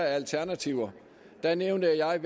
af alternativer der nævnte jeg